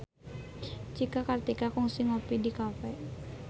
Cika Kartika kungsi ngopi di cafe